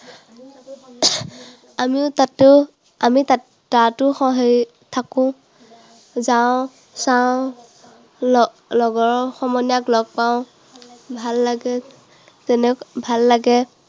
আমিও তাতো, আমি তাতো থাকো, যাওঁ, চাওঁ, ল~ লগৰ সমনীয়াক লগ পাও। ভাল লাগে, তেনে ভাল লাগে